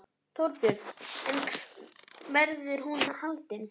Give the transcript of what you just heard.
Þorbjörn: En verður hún haldin?